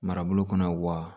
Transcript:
Marabolo kɔnɔ wa